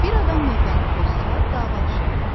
Bir adam növbəni pozsa, dava düşər.